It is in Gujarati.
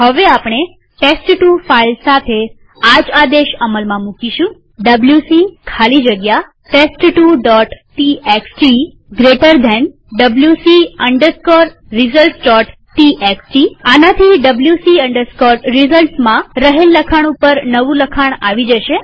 હવે આપણે ટેસ્ટ2 ફાઈલ સાથે આજ આદેશ અમલમાં મુકીશુંwc ખાલી જગ્યા test2ટીએક્સટી જમણા ખૂણાવાળો કૌંસ wc resultstxt આનાથી wc resultsમાં રહેલ લખાણ ઉપર નવું લખાણ આવી જશે